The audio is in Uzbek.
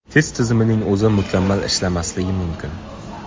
Test tizimining o‘zi mukammal ishlamasligi mumkin.